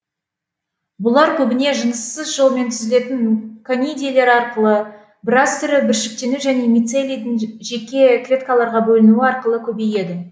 бұлар көбіне жыныссыз жолмен түзілетін конидийлер арқылы біраз түрі бүршіктену және мицелийдің жеке клеткаларға бөлінуі арқылы көбейеді